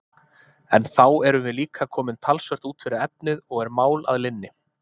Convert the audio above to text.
En þá erum við líka komin talsvert út fyrir efnið, og er mál að linni!